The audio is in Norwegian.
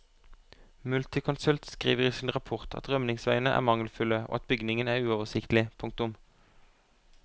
Multiconsult skriver i sin rapport at rømningsveiene er mangelfulle og at bygningen er uoversiktlig. punktum